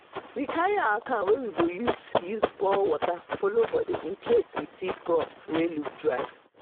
i like to dey check the tomato row as early momo dew still dey shower for the leaves